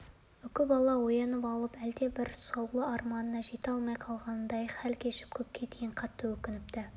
өзінің бұл қылығына өзі күлсе де өңінде де әлгі алтын бекірені ұстап көруге тым-тым ынтызар бола береді